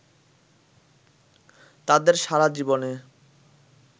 তাঁদের সারা জীবনে